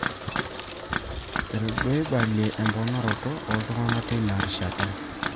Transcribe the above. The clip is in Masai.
etaduaeibale emponaroto ooltung'anak teina rishataki